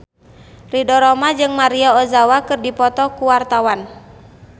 Ridho Roma jeung Maria Ozawa keur dipoto ku wartawan